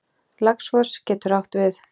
Laxfoss getur átt við